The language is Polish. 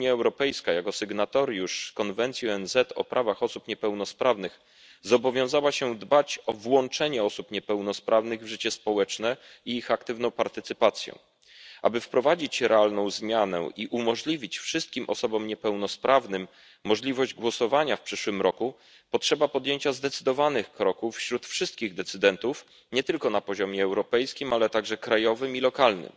Unia Europejska jako sygnatariusz konwencji ONZ o prawach osób niepełnosprawnych zobowiązała się dbać o włączenie osób niepełnosprawnych w życie społeczne i ich aktywną partycypację. Aby wprowadzić realną zmianę i dać wszystkim osobom niepełnosprawnym możliwość głosowania w przyszłym roku, potrzeba podjęcia zdecydowanych kroków wśród wszystkich decydentów nie tylko na poziomie europejskim, ale także krajowym i lokalnym.